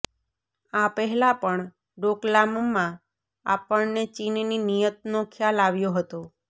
આ પહેલા પણ ડોકલામમાં આપણને ચીનની નિયતનો ખ્યાલ આવ્યો હતો